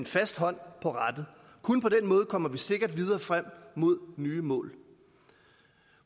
fast hånd på rattet kun på den måde kommer vi sikkert videre frem mod nye mål